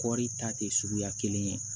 Kɔɔri ta tɛ suguya kelen ye